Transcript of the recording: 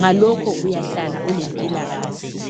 ngalokho uyahlala ulempilakahle.